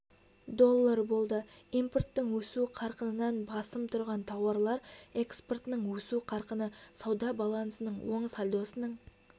долл болды импорттың өсу қарқынынан басым тұрған тауарлар экспортының өсу қарқыны сауда балансының оң сальдосының